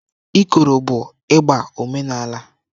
Ikoro bụ ịgbà omenala.